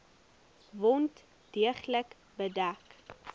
wond deeglik bedek